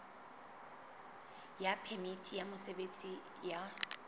ya phemiti ya mosebetsi ya